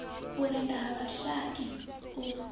u rennda ha vhashai u